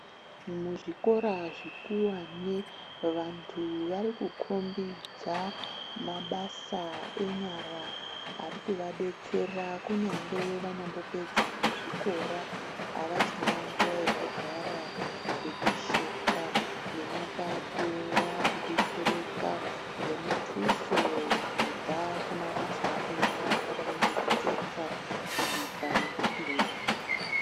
Muzvikora zvekuwane vantu varikukombidza mabasa enyara arikuvadetsera kunyangwe vanyambopedza nezvikora avachina nguwa yekugara kana kupepesheka nemapato vakudetsereka ngemutuso kubva kumabasa enyara akadai ngekutsetsa, kubika nekuthunga.